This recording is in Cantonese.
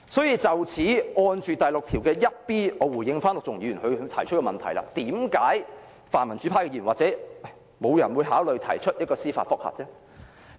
因此，關於第 61b 條，我回應陸頌雄議員提出的問題，為何泛民主派的議員或沒有人會考慮提出司法覆核？